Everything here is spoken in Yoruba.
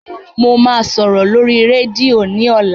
Mo máa sòrò lórí rẹ́díò ní ọ̀la.